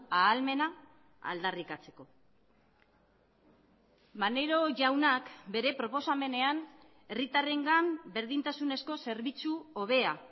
ahalmena aldarrikatzeko maneiro jaunak bere proposamenean herritarrengan berdintasunezko zerbitzu hobea